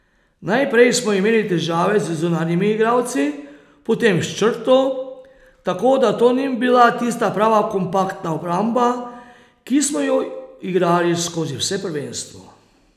Najprej smo imeli težave z zunanjimi igralci, potem s črto, tako da to ni bila tista prava kompaktna obramba, ki smo jo igrali skozi vse prvenstvo.